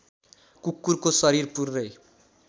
कुकुरको शरीर पुरै